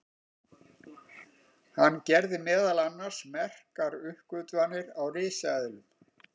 hann gerði meðal annars merkar uppgötvanir á risaeðlum